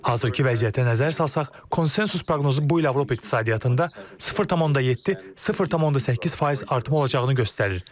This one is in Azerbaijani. Hazırki vəziyyətə nəzər salsaq, konsensus proqnozu bu il Avropa iqtisadiyyatında 0,7-0,8% artım olacağını göstərir.